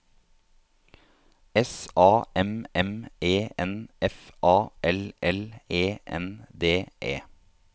S A M M E N F A L L E N D E